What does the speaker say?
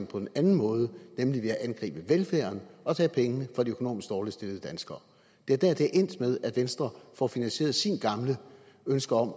på en anden måde nemlig ved at angribe velfærden og tage pengene fra de økonomisk dårligst stillede danskere det er endt med at venstre får finansieret sine gamle ønsker om at